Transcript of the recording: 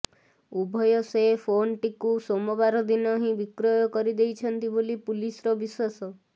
ଉଭୟ ସେ ଫୋନ୍ଟିକୁ ସୋମବାର ଦିନ ହିଁ ବିକ୍ରୟ କରି ଦେଇଛନ୍ତି ବୋଲି ପୁଲିସର ବିଶ୍ୱାସ